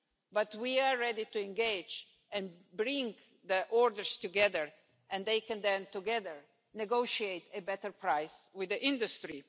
But we are ready to engage and pool orders, and they can then together negotiate a better price with the industry.